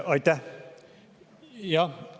Aitäh!